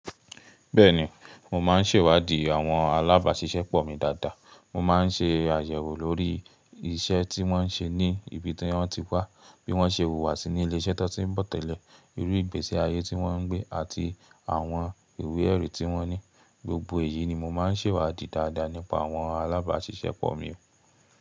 Bẹ́ẹ̀ni, mo máa ń ṣèwádìí àwọn alábàáṣiṣẹ́pọ̀ mi dáadáa. Mo máa ń ṣe àyẹ̀wò lórí iṣẹ́ tí wọ́n ń ṣe ní ibi tí wọ́n ti wá, bí wọ́n ṣe hùwàsí ní ilé iṣẹ́ tó ti ń bọ̀ tẹ́lẹ̀, irú ìgbésí ayé tí wọ́n ń gbé àti àwọn ìwé ẹ̀rí tí wọ́n ní. Gbogbo èyí ni mo máa ń ṣèwádìí dáadáa nípa àwọn alábàáṣiṣẹ́pọ̀ mi.